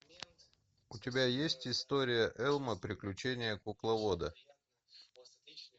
у тебя есть история элмо приключение кукловода